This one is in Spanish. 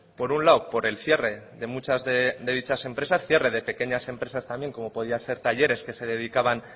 por un lado por el cierre de muchas de dichas empresas cierre de pequeñas empresas también como podían ser talleres que se dedicaban